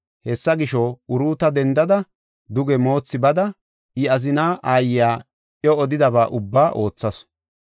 Hessa gisho, Uruuta dendada duge moothi bada, I azina aayiya iw odidaba ubba oothasu.